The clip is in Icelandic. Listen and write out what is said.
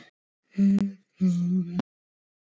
Gamli kappinn bara að verða boss yfir eigin búð.